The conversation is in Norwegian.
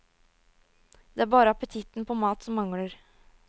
Det er bare appetitten på mat som mangler.